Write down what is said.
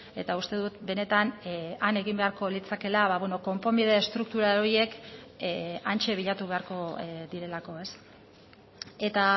eta uste dut benetan han egin beharko litzakeela konponbide estruktural horiek hantxe bilatu beharko direlako ez eta